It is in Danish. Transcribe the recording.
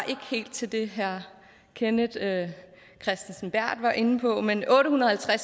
til det herre kenneth kristensen berth var inde på men otte hundrede og